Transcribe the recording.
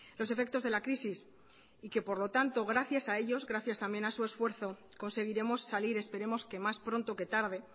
los efectos de la crisis y que por lo tanto gracias a ellos gracias también a su esfuerzo conseguiremos salir esperemos que más pronto que tarde